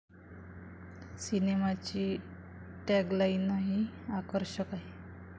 सिनेमाची टॅगलाइनही आकर्षक आहे.